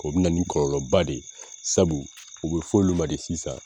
O bi na ni kɔlɔlɔba de ye sabu u be f'olu ma de sisan